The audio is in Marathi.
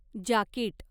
जाकिट